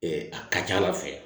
a ka ca ala fɛ